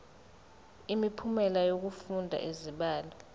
imiphumela yokufunda izibalo